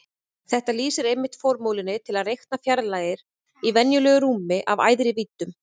Þetta lýsir einmitt formúlunni til að reikna fjarlægðir í venjulegu rúmi af æðri víddum.